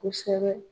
Kosɛbɛ